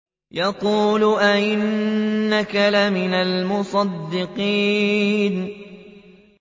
يَقُولُ أَإِنَّكَ لَمِنَ الْمُصَدِّقِينَ